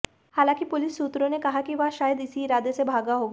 हालांकि पुलिस सूत्रों ने कहा कि वह शायद इसी इरादे से भागा होगा